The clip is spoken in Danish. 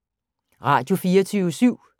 Radio24syv